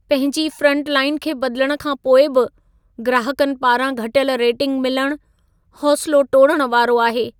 पंहिंजी फ्रंटलाइन खे बदिलण खां पोइ बि ग्राहकनि पारां घटियल रेटिंग मिलणु, हौसिलो टोड़ण वारो आहे।